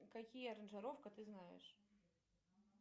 какие аранжировка ты знаешь